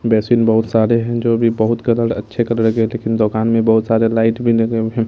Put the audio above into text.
Basin बहुत सारे हैं जो अभी बहुत कलर अच्छे कलर के हैं लेकिन दोकान में बहुत सारे लाइट भी लगे हुए हैं।